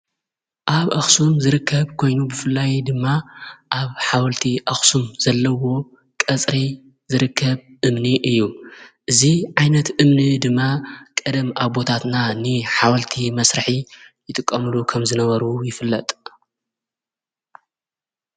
ኣብ ኣኽስም ዝርከብ ኮይኑ ብፍላይ ድማ ኣብ ሓወልቲ ኣኽሱም ዘለዎ ቐጽሪ ዝርከብ እምኒ እዩ እዙ ዓይነት እምኒ ድማ ቀደም ኣቦታትና ኒ ሓወልቲ መሥራሒ ይጥቃምሉ ከም ዝነበሩ ይፍለጥ።